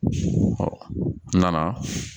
Na